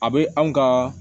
A bɛ anw ka